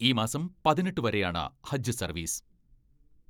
ഈ മാസം പതിനെട്ട് വരെയാണ് ഹജ്ജ് സർവീസ്.